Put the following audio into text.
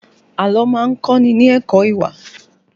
Àlọ́ má ń kọ́ ni ní ẹ̀kọ́ ìwà